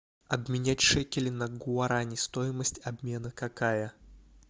обменять шекели на гуарани стоимость обмена какая